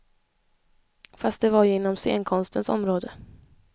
Fast det var ju inom scenkonstens område.